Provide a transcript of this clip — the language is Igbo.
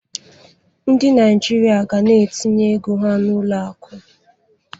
Ndị Naijiria ga na-etinye ego ha n'ụlọ akụ.